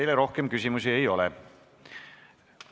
Teile rohkem küsimusi ei ole.